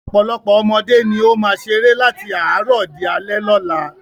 Ọ̀pọ̀lọpọ̀ ọmọdé ni ó máa ń ṣeré láti àárọ̀ di alẹ́ lọ́la.